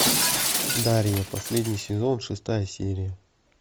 дарья последний сезон шестая серия